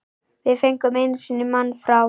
Við fengum einu sinni mann frá